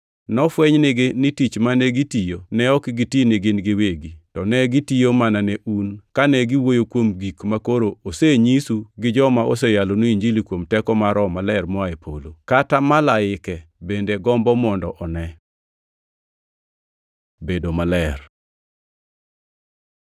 Nofweny nigi ni tich mane gitiyo ne ok giti nigin giwegi, to negitiyo mana ne un kane giwuoyo kuom gik makoro osenyisu gi joma oseyalonu Injili kuom teko mar Roho Maler moa e polo. Kata malaike bende gombo mondo one. Bedo maler